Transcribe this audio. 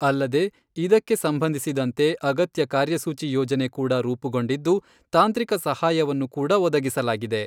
ಅಲ್ಲದೆ ಇದಕ್ಕೆ ಸಂಬಂಧಿಸಿದಂತೆ ಅಗತ್ಯ ಕಾರ್ಯಸೂಚಿ ಯೋಜನೆ ಕೂಡ ರೂಪುಗೊಂಡಿದ್ದು, ತಾಂತ್ರಿಕ ಸಹಾಯವನ್ನು ಕೂಡಒದಗಿಸಲಾಗಿದೆ.